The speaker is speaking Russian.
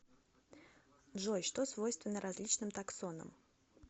джой что свойственно различным таксонам